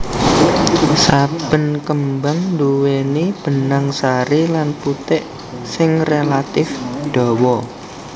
Saben kembang nduwèni benang sari lan putik sing relatif dawa